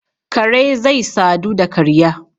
Kare zai sadu da karya